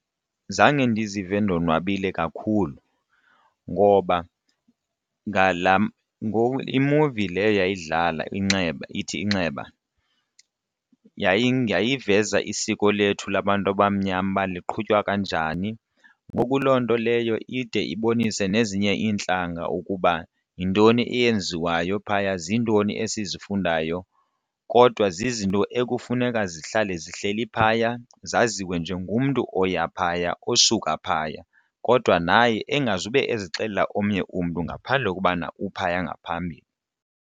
Zange ndizive ndonwabile kakhulu ngoba ngala ngoku iimuvi leyo yayidlala Inxeba ithi, Inxeba, yayiveza isiko lethu labantu abamnyama uba liqhutywa kanjani ngoku loo nto leyo ide ibonise nezinye iintlanga ukuba yintoni eyenziwayo phaya, zintoni esizifundayo kodwa zizinto ekufuneka zihlale zihleli phaya zaziwe nje ngumntu oya phaya osuka phaya. Kodwa naye engazube ezixelela omnye umntu ngaphandle kokubana uphaya ngaphambili.